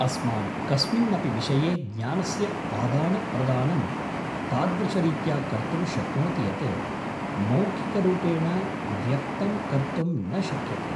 अस्मान् कस्मिन्नपि विषये ज्ञानस्य आदानप्रदानं तादृशरीत्या कर्तुं शक्नोति यत् मौखिकरूपेण व्यक्तं कर्तुं न शक्यते।